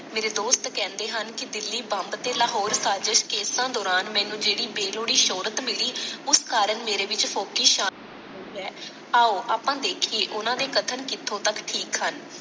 ਮੇਰੇ ਦੋਸਤ ਕਹਿੰਦੇ ਹਨ ਕਿ ਦਿੱਲੀ ਬੰਬ ਤੇ ਲਾਹੌਰ ਸਾਜਿਸ਼ ਕੇਸਾਂ ਦੌਰਾਨ ਮੈਨੂੰ ਜਿਹੜੀ ਬੇਲੋੜੀ ਸ਼ੋਹਰਤ ਮਿਲੀ ਉਸ ਕਾਰਣ ਮੇਰੇ ਵਿਚ ਫੋਕੀ ਸ਼ਾਨ ਹੋਈ ਹੈ। ਆਓ ਆਪਾਂ ਦੇਖੀਏ ਓਨਾ ਦੇ ਕਥਨ ਕਿੱਥੋਂ ਤਕ ਠੀਕ ਹਨ।